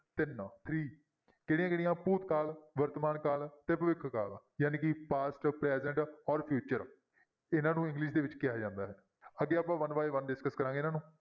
ਤਿੰਨ three ਕਿਹੜੀਆਂ ਕਿਹੜੀਆਂ ਭੂਤਕਾਲ, ਵਰਤਮਾਨ ਕਾਲ, ਤੇ ਭਵਿੱਖ ਕਾਲ ਜਾਣੀ ਕਿ past, present ਔਰ future ਇਹਨਾਂ ਨੂੰ english ਦੇ ਵਿੱਚ ਕਿਹਾ ਜਾਂਦਾ ਹੈ ਅੱਗੇ ਆਪਾਂ one by one discuss ਕਰਾਂਗੇ ਇਹਨਾਂ ਨੂੰ